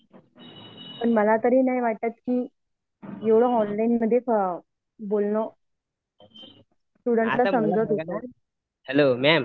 मला नाही वाटत कि एवढं ऑनलाइन मधे बोलणं स्टूडेंट ल समजल असेल